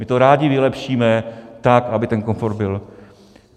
My to rádi vylepšíme tak, aby ten komfort byl.